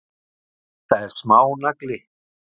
Þetta er smánagli.